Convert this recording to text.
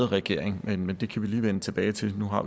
regeringen men men det kan vi lige vende tilbage til nu har